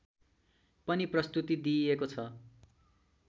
पनि प्रस्तुति दिइएको छ